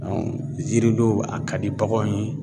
yiri don a ka di baganw ye.